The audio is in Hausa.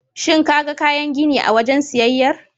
Shin kaga kayan gini a wajen siyayyar?